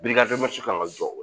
kan ka jɔ